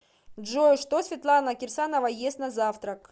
джой что светлана кирсанова ест на завтрак